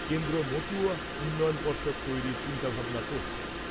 কেন্দ্র মতুয়া উন্নয়ন পর্ষদ তৈরির চিন্তাভাবনা করছে।